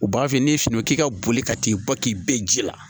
U b'a f'i ye n'i ye fini k'i ka boli ka t'i bɔ k'i bɛɛ ji la